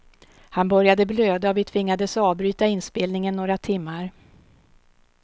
Han började blöda och vi tvingades avbryta inspelningen några timmar.